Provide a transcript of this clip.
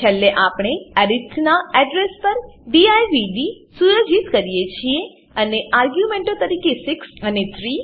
છેલ્લે આપણે અરિથ નાં એડ્રેસ પર દિવ્દ સુયોજિત કરીએ છીએ અને આર્ગ્યુંમેંટો તરીકે 6 અને 3 પસાર કરીએ છીએ